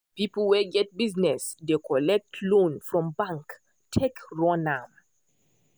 people wey get buisness dey collect loan from bank take run am